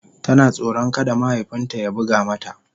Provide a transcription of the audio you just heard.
Tana tsoron kada mahaifin ta ya buga mata.